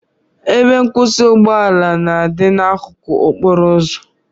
Ebe nkwụsị ụgbọ ala na-adị n'akụkụ okporo ụzọ